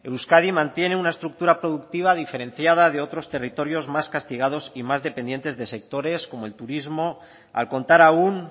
euskadi mantiene una estructura productiva diferenciada de otros territorios más castigados y más dependientes de sectores como el turismo al contar aún